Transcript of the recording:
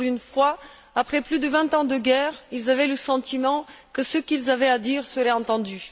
Pour une fois, après plus de vingt ans de guerre, ils avaient le sentiment que ce qu'ils avaient à dire serait entendu.